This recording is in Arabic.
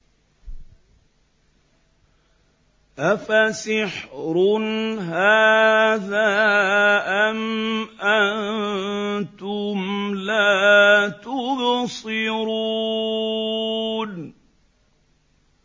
أَفَسِحْرٌ هَٰذَا أَمْ أَنتُمْ لَا تُبْصِرُونَ